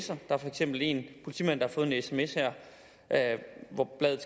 der er for eksempel en politimand der har fået en sms hvor bladet